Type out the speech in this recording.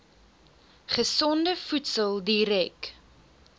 gesonde voedsel direk